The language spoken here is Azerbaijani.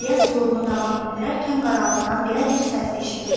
İlyas yolunu davam etdirərkən qaraltıdan belə bir səs eşidildi.